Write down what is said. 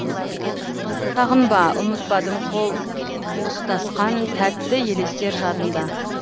сағынба ұмытпадым қол ұстасқан тәтті елестер жадымда